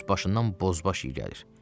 Üs başından bozbaş iyi gəlir.